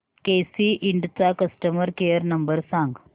केसी इंड चा customer care number सांग